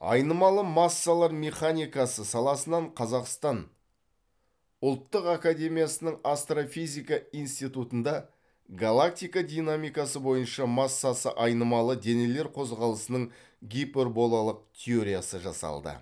айнымалы массалар механикасы саласынан қазақстан ұлттық академиясының астрофизика институтында галактика динамикасы бойынша массасы айнымалы денелер қозғалысының гиперболалық теориясы жасалды